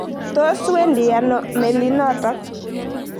Tos wendi ano melinotok?